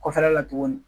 Kɔfɛla la tuguni